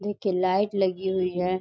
देखिये लाइट लगी हुई है।